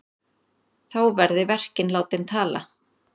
Þá verði verkin látin tala.